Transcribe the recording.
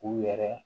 U yɛrɛ